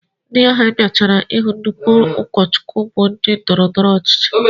Ndị ahụ bịachara hụ nnukwu ụkọchukwu bụ ndị ndọrọndọrọ ọchịchị